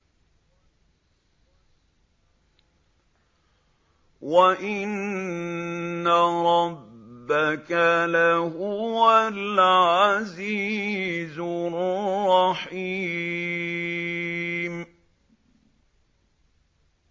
وَإِنَّ رَبَّكَ لَهُوَ الْعَزِيزُ الرَّحِيمُ